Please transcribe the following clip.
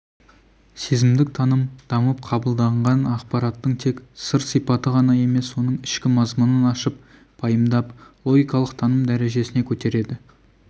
сезімдік таным дамып қабылданған ақпараттың тек сыр-сипаты ғана емес оның ішкі мазмұнын ашып пайымдап логикалық таным дәрежесіне көтереді